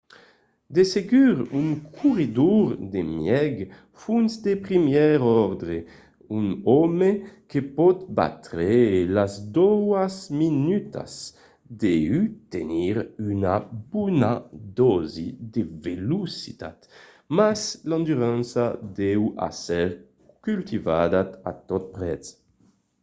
de segur un corredor de mièg fons de primièr òrdre un òme que pòt batre las doas minutas deu tenir una bona dòsi de velocitat mas l'endurança deu èsser cultivada a tot prètz